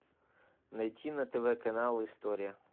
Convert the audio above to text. найти на тв канал история